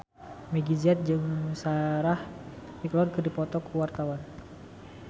Meggie Z jeung Sarah McLeod keur dipoto ku wartawan